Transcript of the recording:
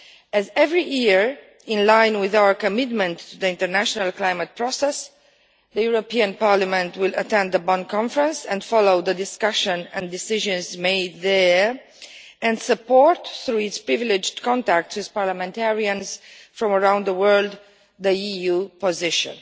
As every year, in line with our commitment to the international climate process, the European Parliament will attend the Bonn conference and follow the discussion and decisions made there, and through its privileged contacts with parliamentarians from around the world will support the EU position.